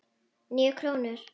Níu krónur?